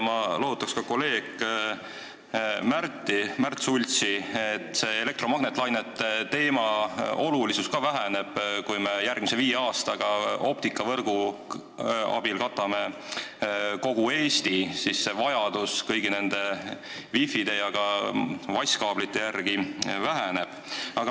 Ma lohutaks ka kolleeg Märt Sultsi sellega, et elektromagnetlainete teema olulisus väheneb, kui me katame järgmise viie aasta jooksul optikavõrgu abil kogu Eesti, sest vajadus kõigi nende wifide ja vaskkaablite järele on väiksem.